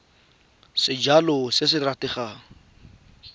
sejalo se se opafaditsweng se